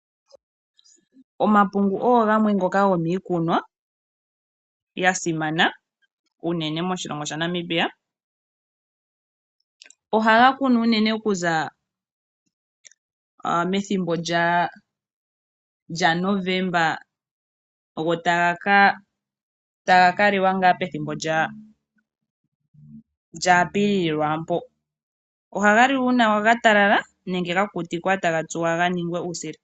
Omapungu gamwe gomiikunwa yasimana unene moshilongo shaNamibia. Ohaga kunwa unene kuza methimbo lyaNovemba taga kaliwa pethimbo lyaApilili. Ohaga liwa omatalala nenge ga kukutikwa taga tsuwa ganinge uusila.